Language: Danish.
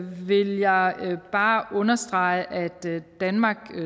vil jeg bare understrege at danmark